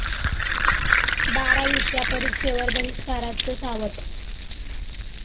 बारावीच्या परीक्षेवर बहिष्काराचं सावट